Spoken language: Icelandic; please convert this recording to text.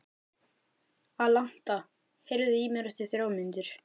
Alanta, heyrðu í mér eftir þrjár mínútur.